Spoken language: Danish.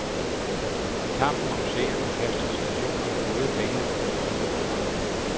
I kampen om seerne kaster stationerne gode penge efter dårlige programmer.